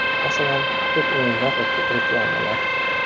Masalan, ko‘p o‘yinlar va ko‘p reklamalar.